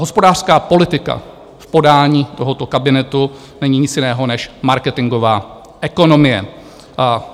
Hospodářská politika v podání tohoto kabinetu není nic jiného než marketingová ekonomie.